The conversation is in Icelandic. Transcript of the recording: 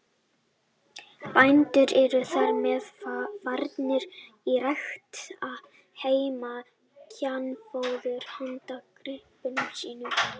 Bændur eru þar með farnir að rækta heima kjarnfóður handa gripum sínum.